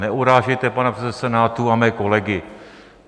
Neurážejte pana předsedu Senátu a mé kolegy.